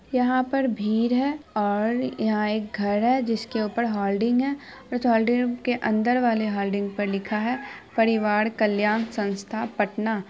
यहाँ पर भीड़ है और यहाँ एक घर है जिसके ऊपर होल्डिंग है और उसके होल्डिंग के अंदर वाले होल्डिंग वाले पे लिखा है परिवार कल्याण संस्था पटना |